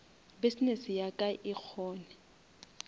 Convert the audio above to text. business ya ka e kgone